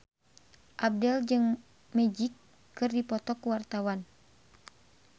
Abdel jeung Magic keur dipoto ku wartawan